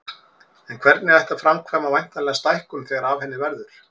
En hvernig ætti að framkvæma væntanlega stækkun þegar af henni verður.